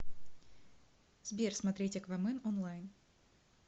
сбер смотреть аквамен онлайн